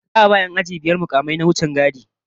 Za'a ba 'yan aji biyar mukamai na wichingadi